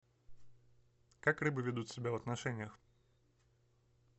как рыбы ведут себя в отношениях